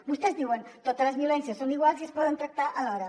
vostès diuen totes les violències són iguals i es poden tractar alhora